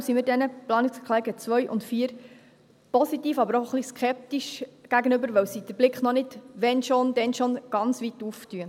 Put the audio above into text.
Deshalb stehen wir diesen Planungserklärungen 2 und 4 positiv, aber auch ein wenig skeptisch gegenüber, weil sie den Blick noch nicht – wennschon, dennschon – ganz weit auftun.